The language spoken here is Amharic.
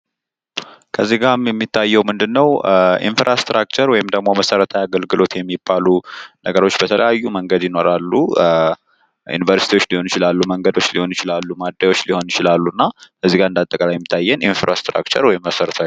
ጥራት ያለው የትራንስፖርት መሰረተ ልማት የሸቀጦችና የሰዎች እንቅስቃሴን በማቀላጠፍ ለገበያ ትስስር አስተዋጽኦ ያደርጋል።